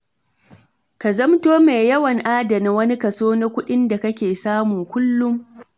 Ka zamto mai yawan adana wani kaso na kuɗin da kake samu kullum.